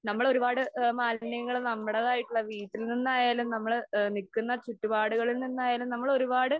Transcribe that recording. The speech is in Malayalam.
നമ്മള് ഒരുപാട് ആ മാലിന്യങ്ങള് നമ്മളേതായിട്ടുള്ള വീട്ടിൽ നിന്നായാലും നമ്മള് ആ നിക്കുന്ന ചുറ്റുപാടുകളിൽ നിന്നായാലും നമ്മൾ ഒരുപാട്